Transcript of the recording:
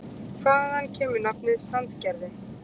Hvaðan kemur nafnið Sandgerði?